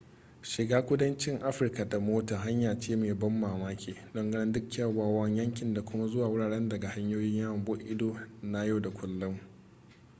shiga kudancin afirka da mota hanya ce mai ban mamaki don ganin duk kyawawan yankin da kuma zuwa wurare daga hanyoyin yawon buɗe ido na yau da kullun